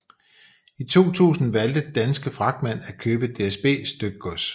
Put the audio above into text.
I 2000 valgte Danske Fragtmænd at købe DSB Stykgods